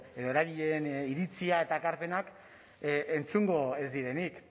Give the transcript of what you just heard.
edo eragileen iritzia eta ekarpenak entzungo ez direnik